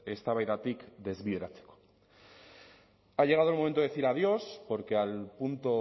eztabaidatik desbideratzeko ha llegado el momento de decir adiós porque al punto